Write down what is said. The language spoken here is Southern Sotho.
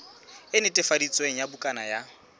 e netefaditsweng ya bukana ya